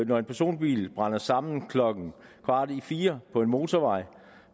når en personbil brænder sammen klokken kvart i fire på en motorvej